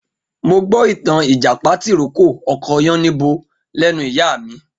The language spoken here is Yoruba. Mo gbó ìtàn Ìjàpá tì rókò ọkọ Yáníbo látẹnu ìyá mí.